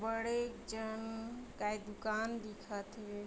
बड़े जन काय दुकान दिखत हे।